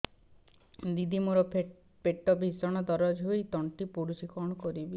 ଦିଦି ମୋର ପେଟ ଭୀଷଣ ଦରଜ ହୋଇ ତଣ୍ଟି ପୋଡୁଛି କଣ କରିବି